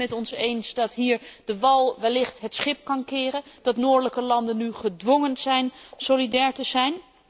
Bent u het met ons eens dat hier de wal wellicht het schip kan keren, dat noordelijke landen nu gedwongen zijn solidair te zijn?